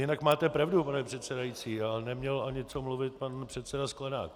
Jinak máte pravdu, pane předsedající, ale neměl ani co mluvit pan předseda Sklenák.